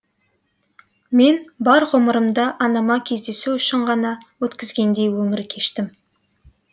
мен бар ғұмырымды анама кездесу үшін ғана өткізгендей өмір кештім